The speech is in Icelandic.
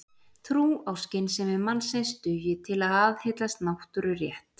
Trú á skynsemi mannsins dugi til að aðhyllast náttúrurétt.